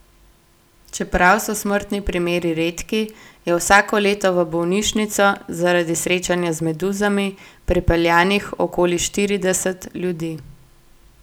Čeprav so smrtni primeri redki, je vsako leto v bolnišnico, zaradi srečanja z meduzami, prepeljanih okoli štirideset ljudi.